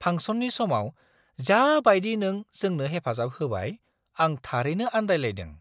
फांसननि समाव जा बायदि नों जोंनो हेफाजाब होबाय, आं थारैनो आन्दायलायदों!